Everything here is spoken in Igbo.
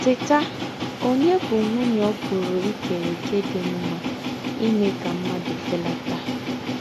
Tétà!: Ònyè bú́ nwùnyè ò pùrù ìkèrè òkè dí́ m̀mà n’ímè ká m̀mùàdù félátà?